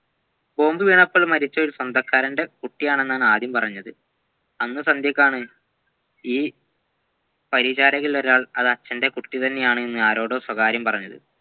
bomb വീണപ്പോൾമരിച്ച ഒരു സ്വന്തക്കാരൻ്റെ കുട്ടിയാണെന്നാണ് ആദ്യം പറഞ്ഞത് അന്ന് സന്ധ്യക്കാണ് ഈ പരിചാരകന്മാരിലൊരാൾ അത് അച്ഛൻ്റെ കുട്ടി തന്നെയാണെന്ന് ആരോടോ സ്വാകാര്യം പറഞ്ഞത്